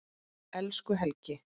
Elsku Helgi.